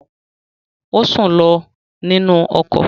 Ó sùn lọ nínú ọkọ̀